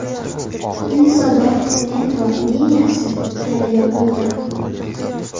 Yunusobod metro liniyasi yana yopildi.